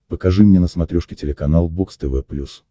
покажи мне на смотрешке телеканал бокс тв плюс